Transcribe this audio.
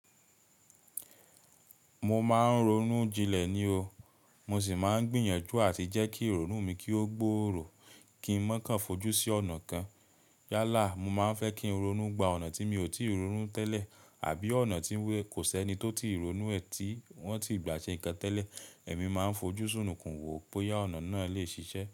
Mo máa ń ronú jinlẹ̀ ni o, mo sì máa ń gbìyànjú àti jẹ́ kí ìrònú mi kí ó gbòòrò kí n mọ̀ ká fojú sí ọ̀nà kan. Yálà, mo máa ń fẹ́ kí ronú gba ọ̀nà tí mi ò tíì ronú tẹ́lẹ̀ àbí ọ̀nà tí kò sí ẹni tó ti ronú ẹ ti wọn ti gba ṣe ǹkan tẹ́lẹ̀, èmi máa ń fojú sún nìkan wò bóyá ọ̀nà náà lè ṣiṣẹ́